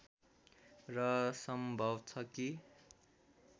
र सम्भव छ कि